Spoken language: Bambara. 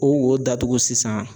O wo datugu sisan ?]